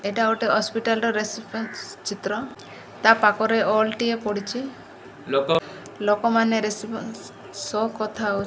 ଏଇଟା ଗୋଟେ ଅସ୍ପିଟାଲ୍ ର ରେସପନ୍ସ ଚିତ୍ର ତା ପାଖ ରେ ହଲ୍ ଟେ ପଡ଼ିଚି ଲୋକ ମାନେ ରେସପନ୍ସ ସହ କଥା ହଉ --